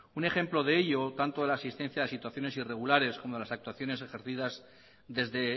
un ejemplo de ello tanto de la existencia de situaciones irregulares como de las actuaciones ejercidas desde